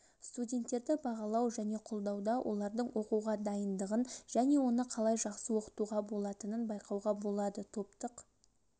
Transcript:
студенттерді бағалау және қолдауда олардың оқуға дайындығын және оны қалай жақсы оқытуға болатынын байқауға болады топтық